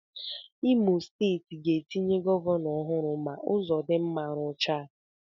Ndị Steeti Imo ga-etinye gọvanọ ọhụrụ ma Ụzọdinma ruchaa.